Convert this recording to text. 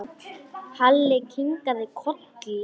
Halli kinkaði kolli.